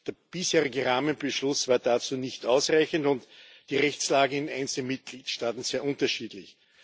Der bisherige Rahmenbeschluss war dazu nicht ausreichend und die Rechtslage in einzelnen Mitgliedstaaten sehr unterschiedlich.